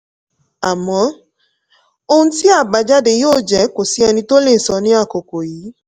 àmọ́ ohun tí àbájáde yóò jẹ́ kò sí ẹni tó lè sọ ní àkókò yìí.